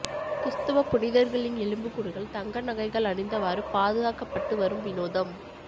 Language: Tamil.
கிறிஸ்துவ புனிதர்களின் எலும்புக்கூடுகள் தங்க நகைகள் அணிந்தவாறு பாதுகாக்கப்பட்டு வரும் வினோதம்